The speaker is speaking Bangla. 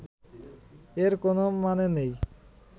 এর কোনও মানে নেই